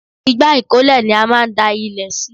Igbá ìkólẹ̀ ni a máa ń da ilẹ̀ sí